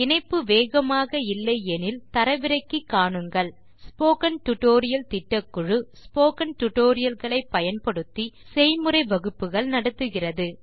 இணைப்பு வேகமாக இல்லை எனில் தரவிறக்கி காணுங்கள் ஸ்போக்கன் டியூட்டோரியல் திட்டக்குழு ஸ்போக்கன் டியூட்டோரியல் களை பயன்படுத்தி செய்முறை வகுப்புகள் நடத்துகிறது